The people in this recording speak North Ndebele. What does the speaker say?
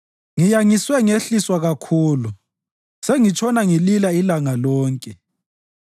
Ngiyangiswe ngehliswa kakhulu; sengitshona ngilila ilanga lonke.